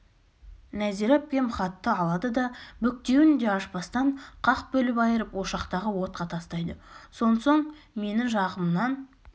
нәзира әпкем хатты алады да бүктеуін де ашпастан қақ бөліп айырып ошақтағы отқа тастайды сонсоң мені жағымнан